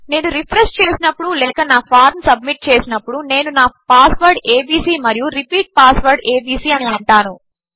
నేనురిఫ్రెష్చేసినప్పుడులేకనాఫార్మ్సబ్మిట్చేసినప్పుడు నేనునాపాస్వర్డ్ ఏబీసీ మరియు repeat password ABC అనిఅంటాను